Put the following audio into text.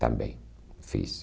Também fiz.